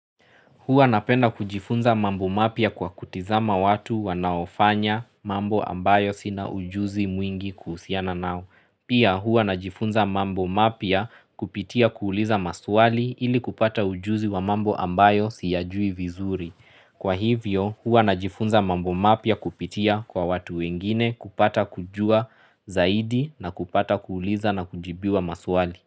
Hua napenda kujifunza mambo mapya kwa kutizama watu wanaofanya mambo ambayo sina ujuzi mwingi kuhusiana nao. Pia hua najifunza mambo mapya kupitia kuuliza maswali ili kupata ujuzi wa mambo ambayo siyajui vizuri. Kwa hivyo huwa najifunza mambo mapya kupitia kwa watu wengine kupata kujua zaidi na kupata kuuliza na kujibiwa maswali.